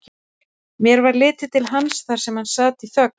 Mér varð litið til hans þar sem hann sat í þögn.